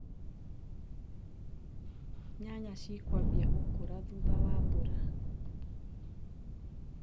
Nyanya cikwambia gũkũra thutha wa mbura.